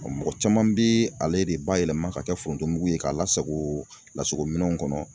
Mɔgɔ caman bɛ ale de ba yɛlɛma ka kɛ forontomugu ye k'a lasago lasago minɛnw kɔnɔ.